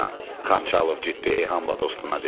Xançalov ciddi eyhamla dostuna dedi.